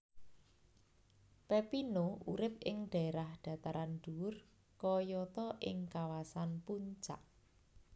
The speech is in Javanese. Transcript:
Pepino urip ing dhaerah dhataran dhuwur kayata ing kawasan Puncak